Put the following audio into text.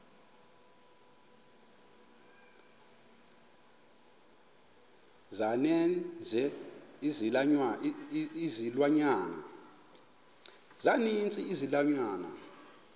za ninzi izilwanyana